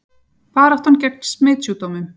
Baráttan gegn smitsjúkdómum